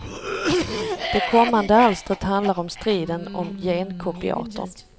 Det kommande alstret handlar om striden om genkopiatorn.